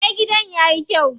Eh, gidan yayi kyau.